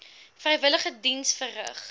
vrywillige diens verrig